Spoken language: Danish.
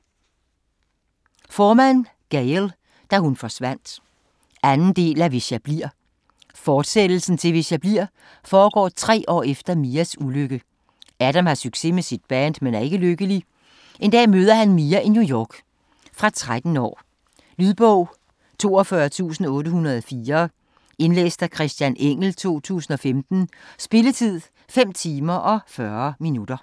Forman, Gayle: Da hun forsvandt 2. del af Hvis jeg bliver. Fortsættelsen til "Hvis jeg bliver" foregår tre år efter Mias ulykke. Adam har succes med sit band men er ikke lykkelig. En dag møder han Mia i New York. Fra 13 år. Lydbog 42804 Indlæst af Christian Engell, 2015. Spilletid: 5 timer, 40 minutter.